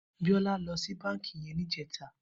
Biola lò si bànkí yèn nijètâ